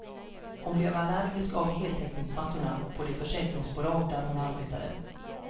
Hon blev allergisk av heltäckningsmattorna på det försäkringsbolag där hon arbetade.